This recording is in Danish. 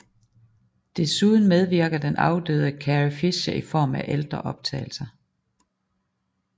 Desuden medvirker den afdøde Carrie Fisher i form af ældre optagelser